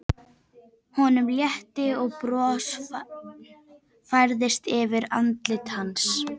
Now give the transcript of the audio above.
Honum létti og bros færðist yfir andlit hans.